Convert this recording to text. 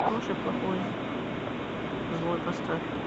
хороший плохой злой поставь